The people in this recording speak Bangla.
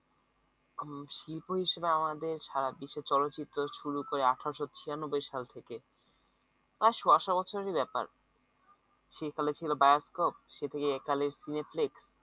আহ শিল্প হিসেবে আমাদের সারা বিশ্বে চলচ্চিত্র শুরু করে আথেরশ ছিয়ানব্বই সাল থেকে প্রায় সয়া শ বছরের ব্যাপার সে কালে ছিল bioscope সে থেকে একালে cineplex